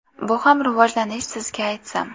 Bu ham rivojlanish sizga aytsam.